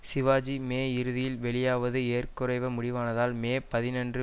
Sivaji May இறுதியில் வெளியாவது ஏற குறைய முடிவானதால் மே பதினொன்று